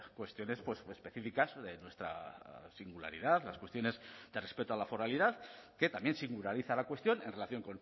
cuestiones específicas de nuestra singularidad las cuestiones de respeto a la foralidad que también singulariza la cuestión en relación